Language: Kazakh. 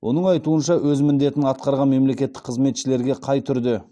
оның айтуынша өз міндетін атқарған мемлекеттік қызметшілерге қай түрде